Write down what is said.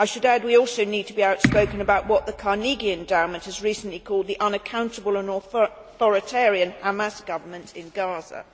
I should add that we also need to be outspoken about what the Carnegie Endowment has recently called the unaccountable and authoritarian Hamas Government in Gaza.